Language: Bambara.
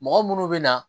Mɔgɔ munnu be na